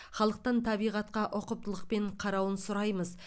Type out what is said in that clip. халықтан табиғатқа ұқыптылықпен қарауын сұраймыз